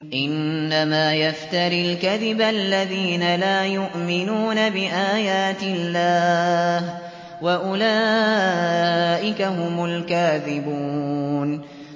إِنَّمَا يَفْتَرِي الْكَذِبَ الَّذِينَ لَا يُؤْمِنُونَ بِآيَاتِ اللَّهِ ۖ وَأُولَٰئِكَ هُمُ الْكَاذِبُونَ